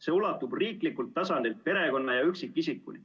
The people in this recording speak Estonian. See ulatub riiklikult tasandilt perekonna ja üksikisikuni.